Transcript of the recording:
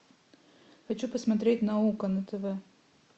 хочу посмотреть наука на тв